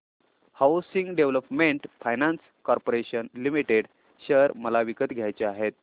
housing development finance corporation limited share मला विकत घ्यायचे आहेत